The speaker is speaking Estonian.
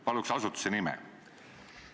Palun asutuse nime!